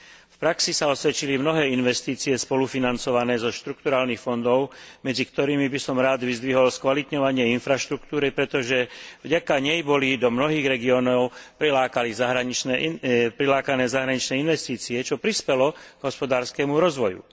V praxi sa osvedčili mnohé investície spolufinancované zo štrukturálnych fondov, medzi ktorými by som rád vyzdvihol skvalitňovanie infraštruktúry, pretože vďaka nej boli do mnohých regiónov prilákané zahraničné investície, čo prispelo k hospodárskemu rozvoju.